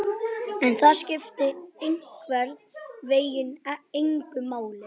En það skipti einhvern veginn engu máli.